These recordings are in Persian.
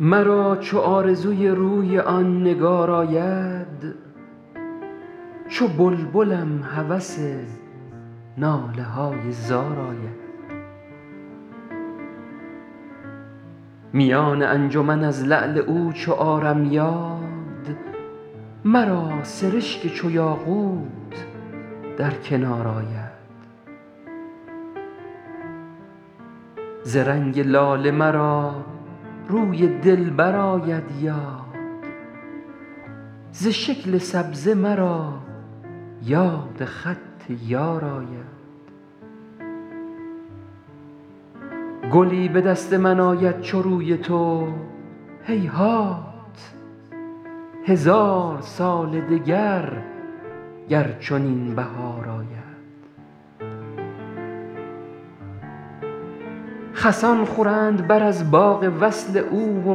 مرا چو آرزوی روی آن نگار آید چو بلبلم هوس ناله های زار آید میان انجمن از لعل او چو آرم یاد مرا سرشک چو یاقوت در کنار آید ز رنگ لاله مرا روی دلبر آید یاد ز شکل سبزه مرا یاد خط یار آید گلی به دست من آید چو روی تو هیهات هزار سال دگر گر چنین بهار آید خسان خورند بر از باغ وصل او و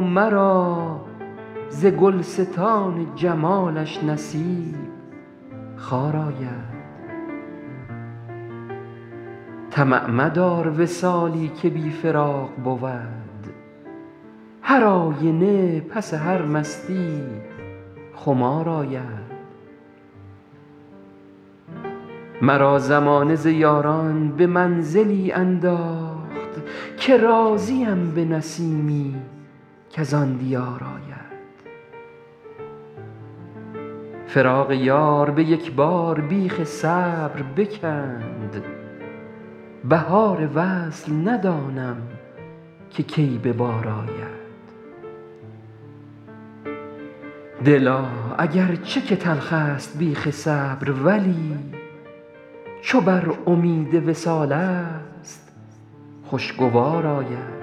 مرا ز گلستان جمالش نصیب خار آید طمع مدار وصالی که بی فراق بود هرآینه پس هر مستیی خمار آید مرا زمانه ز یاران به منزلی انداخت که راضیم به نسیمی کز آن دیار آید فراق یار به یک بار بیخ صبر بکند بهار وصل ندانم که کی به بار آید دلا اگر چه که تلخست بیخ صبر ولی چو بر امید وصالست خوشگوار آید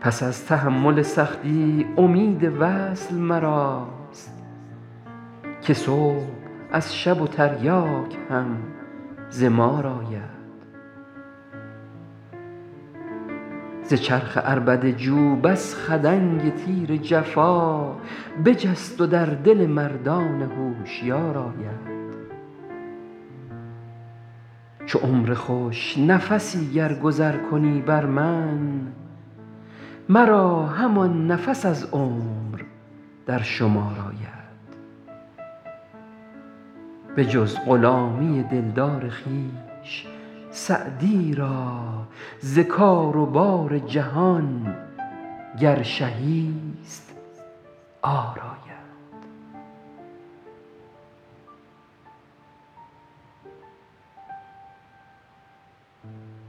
پس از تحمل سختی امید وصل مراست که صبح از شب و تریاک هم ز مار آید ز چرخ عربده جو بس خدنگ تیر جفا بجست و در دل مردان هوشیار آید چو عمر خوش نفسی گر گذر کنی بر من مرا همان نفس از عمر در شمار آید بجز غلامی دلدار خویش سعدی را ز کار و بار جهان گر شهی ست عار آید